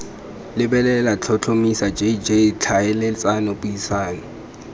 lebelela tlhotlhomisa jj tlhaeletsano puisano